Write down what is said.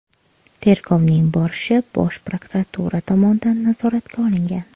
Tergovning borishi Bosh prokuratura tomonidan nazoratga olingan.